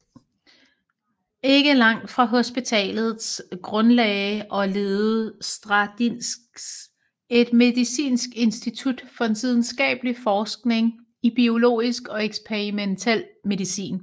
Ikke langt fra hospitalet grundlagde og ledede Stradiņš et medicinsk institut for videnskabelig forskning i biologisk og eksperimentel medicin